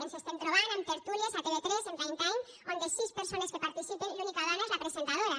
ens estem trobant amb tertúlies a tv3 en prime time on de sis persones que hi participen l’única dona és la presentadora